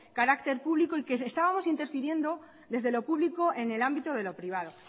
carácter público y que estábamos interfiriendo desde lo público en el ámbito de lo privado